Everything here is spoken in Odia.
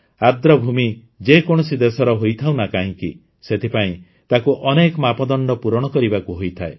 ଆର୍ଦ୍ରଭୂମି ଯେ କୌଣସି ଦେଶର ହୋଇଥାଉ ନା କାହିଁକି ସେଥିପାଇଁ ତାକୁ ଅନେକ ମାପଦଣ୍ଡ ପୂରଣ କରିବାକୁ ହୋଇଥାଏ